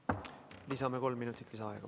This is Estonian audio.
Lisame kolm minutit aega.